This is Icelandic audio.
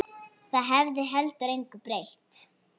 Það hefði heldur engu breytt.